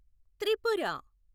Tripura